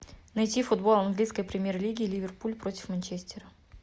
найти футбол английской премьер лиги ливерпуль против манчестера